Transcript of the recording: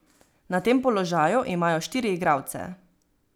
Na tem položaju imajo štiri igralce.